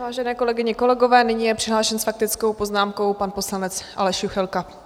Vážené kolegyně, kolegové, nyní je přihlášen s faktickou poznámkou pan poslanec Aleš Juchelka.